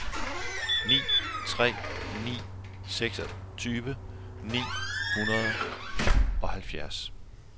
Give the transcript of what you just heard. ni tre ni en seksogtyve ni hundrede og halvfjerds